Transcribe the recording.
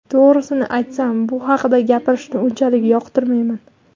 To‘g‘risini aytsam, bu haqda gapirishni unchalik yoqtirmayman.